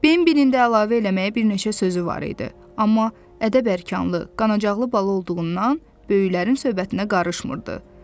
Beyninin də əlavə eləməyə bir neçə sözü var idi, amma ədəb-ərkanlı, qanacaqlı bala olduğundan böyüklərin söhbətinə qarışmırdı.